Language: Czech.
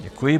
Děkuji.